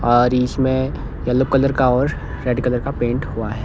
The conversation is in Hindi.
और इसमें येलो कलर का और रेड कलर का पेंट हुआ है।